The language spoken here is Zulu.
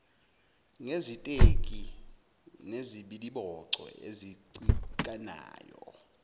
ngeziteki nezibiliboco ezicikanayo